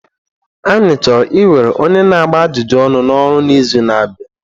Anyị chọrọ iwere onye na-agba ajụjụ ọnụ n'ọrụ n'izu na-abịa.